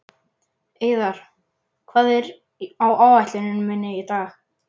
Eiðar, hvað er á áætluninni minni í dag?